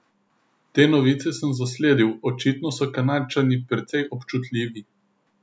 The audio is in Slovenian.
Te novice sem zasledil, očitno so Kanadčani precej občutljivi.